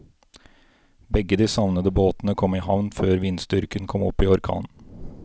Begge de savnede båtene kom i havn før vindstyrken kom opp i orkan.